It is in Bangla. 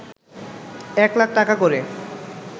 এক লাখ টাকা করে